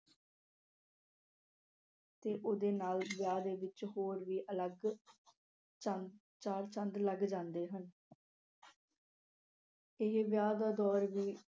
ਤੇ ਉਹਦੇ ਨਾਲ ਵਿਆਹ ਦੇ ਵਿੱਚ ਹੋਰ ਵੀ ਅਲੱਗ ਚੰਦ ਅਹ ਚਾਰ ਚੰਦ ਲੱਗ ਜਾਂਦੇ ਹਨ। ਤੇ ਇਹ ਵਿਆਹ ਦਾ ਦੌਰ ਵੀ